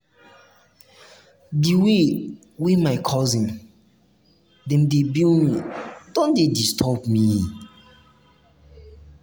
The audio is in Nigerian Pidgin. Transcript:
di way way my um cousin dem dey bill me don dey disturb me.